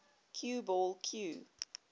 cue ball cue